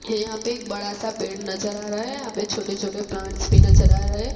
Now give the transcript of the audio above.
ये यहां पे एक बड़ासा पेड़ नजर आ रहा हैं यहां पे छोटे छोटे प्लांट्स भी नजर आ रहे हैं।